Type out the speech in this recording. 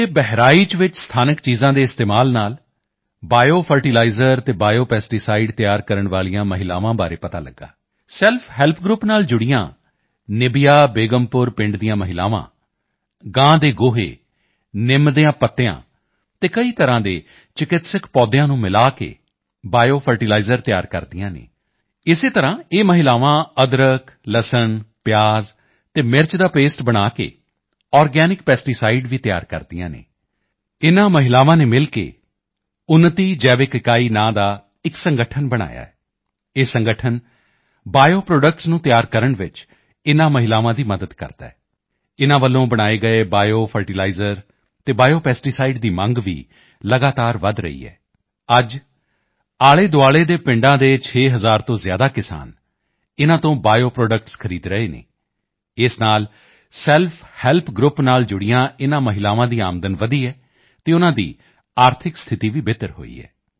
ਦੇ ਬਹਿਰਾਈਚ ਚ ਸਥਾਨਕ ਚੀਜ਼ਾਂ ਦੇ ਇਸਤੇਮਾਲ ਨਾਲ ਬਾਇਓ ਫਰਟੀਲਾਇਜ਼ਰ ਅਤੇ ਬਾਇਓ ਪੈਸਟੀਸਾਈਡ ਤਿਆਰ ਕਰਨ ਵਾਲੀਆਂ ਮਹਿਲਾਵਾਂ ਬਾਰੇ ਪਤਾ ਲਗਿਆ ਸੈਲਫ ਹੈਲਪ ਗਰੁੱਪ ਨਾਲ ਜੁੜੀਆਂ ਨਿਬੀਆ ਬੇਗਮਪੁਰ ਪਿੰਡ ਦੀਆਂ ਮਹਿਲਾਵਾਂ ਗਾਂ ਦੇ ਗੋਹੇ ਨਿਮ ਦੀਆਂ ਪੱਤੀਆਂ ਅਤੇ ਕਈ ਤਰ੍ਹਾਂ ਦੇ ਚਿੱਕਿਸਤਕ ਪੌਦਿਆਂ ਨੂੰ ਮਿਲਾ ਕੇ ਬਾਇਓ ਫਰਟੀਲਾਇਜ਼ਰ ਤਿਆਰ ਕਰਦੀਆਂ ਹਨ ਇਸੇ ਤਰ੍ਹਾਂ ਇਹ ਮਹਿਲਾਵਾਂ ਅਦਰਕ ਲਸਣ ਪਿਆਜ਼ ਅਤੇ ਮਿਰਚ ਦਾ ਪੇਸਟ ਬਣਾ ਕੇ ਆਰਗੈਨਿਕ ਪੈਸਟੀਸਾਈਡ ਵੀ ਤਿਆਰ ਕਰਦੀਆਂ ਹਨ ਇਨ੍ਹਾਂ ਮਹਿਲਾਵਾਂ ਨੇ ਮਿਲ ਕੇ ਉੱਨਤੀ ਜੈਵਿਕ ਇਕਾਈ ਨਾਂ ਦਾ ਇੱਕ ਸੰਗਠਨ ਬਣਾਇਆ ਹੈ ਇਹ ਸੰਗਠਨ ਬਾਇਓ ਪ੍ਰੋਡਕਟਸ ਨੂੰ ਤਿਆਰ ਕਰਨ ਚ ਇਨ੍ਹਾਂ ਮਹਿਲਾਵਾਂ ਦੀ ਮਦਦ ਕਰਦਾ ਹੈ ਇਨ੍ਹਾਂ ਦੁਆਰਾ ਬਣਾਏ ਗਏ ਬਾਇਓ ਫਰਟੀਲਾਇਜ਼ਰ ਤੇ ਬਾਇਓ ਪੈਸਟੀਸਾਈਡ ਦੀ ਮੰਗ ਵੀ ਲਗਾਤਾਰ ਵਧ ਰਹੀ ਹੈ ਅੱਜ ਆਲ਼ੇਦੁਆਲ਼ੇ ਦੇ ਪਿੰਡਾਂ ਦੇ 6 ਹਜ਼ਾਰ ਤੋਂ ਜ਼ਿਆਦਾ ਕਿਸਾਨ ਇਨ੍ਹਾਂ ਤੋਂ ਬਾਇਓ ਪ੍ਰੋਡਕਟਸ ਖਰੀਦ ਰਹੇ ਹਨ ਇਸ ਨਾਲ ਸੈਲਫ ਹੈਲਪ ਗਰੁੱਪ ਨਾਲ ਜੁੜੀਆਂ ਇਨ੍ਹਾਂ ਮਹਿਲਾਵਾਂ ਦੀ ਆਮਦਨ ਵਧੀ ਹੈ ਅਤੇ ਉਨ੍ਹਾਂ ਦੀ ਆਰਥਿਕ ਸਥਿਤੀ ਵੀ ਬਿਹਤਰ ਹੋਈ ਹੈ